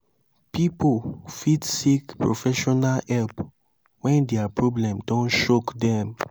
pipo fit seek professional help when their problem don choke them